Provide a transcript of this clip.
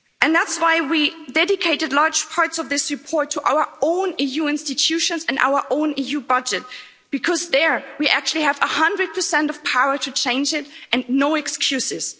That's why we dedicated large parts of this report to our own EU institutions and our own EU budget because there we actually have 100 of the power to change it and no excuses.